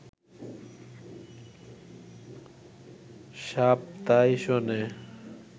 সাপ তাই শোনে